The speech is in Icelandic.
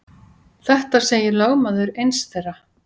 Þetta segir lögmaður eins þeirra.